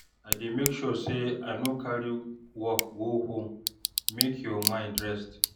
I dey make sure sey I no carry work go home make your mind rest.